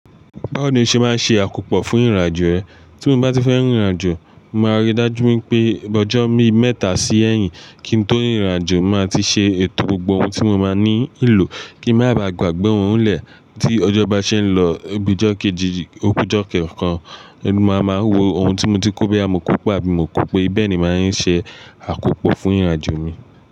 Báwo ni o ṣe máa ń ṣe àkópò fún ìrìnàjò rẹ? Tí mo bá ti fẹ́ rìnrìnàjò, màá rí i dájú wipé ọjọ́ mi mẹ́ta sí ẹ̀yìn kí n tó rìnrìnàjò, màá ti ṣe ètò gbogbo ohun tí mo máa ní lò kí má baà gbàgbé òun lẹ̀ tí ọjọ́ bá ṣe ń lọ. Bi ijọ kejì, oku ijọ ku ẹyọkan, mo máa wo ohun tí mo ti kó boya mo kó pe àbí mo kó pé bẹ́ẹ̀ ni màá ń ṣe àkópò fún ìrìnàjò mi.